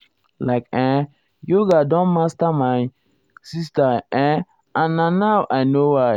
like[um]yoga don master my my sister[um]and na now i know why.